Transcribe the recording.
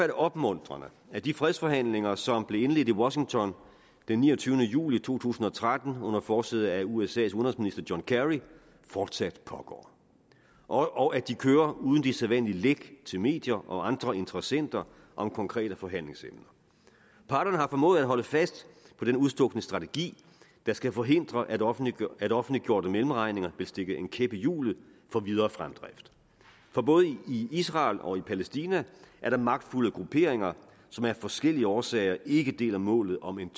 det opmuntrende at de fredsforhandlinger som blev indledt i washington den niogtyvende juli to tusind og tretten under forsæde af usas udenrigsminister john kerry fortsat pågår og at de kører uden de sædvanlige læk til medier og andre interessenter om konkrete forhandlingsemner parterne har formået at holde fast på den udstukne strategi der skal forhindre at offentliggjorte offentliggjorte mellemregninger vil stikke en kæp i hjulet for videre fremdrift for både i israel og i palæstina er der magtfulde grupperinger som af forskellige årsager ikke deler målet om en